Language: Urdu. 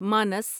مانس